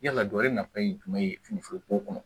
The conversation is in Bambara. Yala gɔyɔ nafa ye jumɛn ye finiforo ko kɔnɔ